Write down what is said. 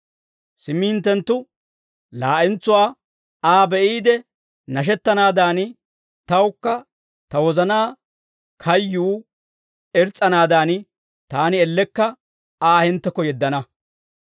Simmi hinttenttu laa'entsuwaa Aa be'iide nashettanaadan, tawukka ta wozanaa kayyuu irs's'anaadan, taani ellekka Aa hinttekko yeddana.